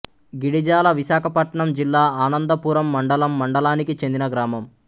గిడిజాల విశాఖపట్నం జిల్లా ఆనందపురం మండలం మండలానికి చెందిన గ్రామం